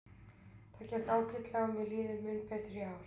Það gekk ágætlega og mér líður mun betur í ár.